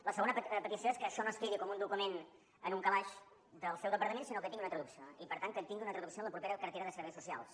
la segona petició és que això no es quedi com un document en un calaix del seu departament sinó que tingui una traducció i per tant que tingui una traducció en la propera cartera de serveis socials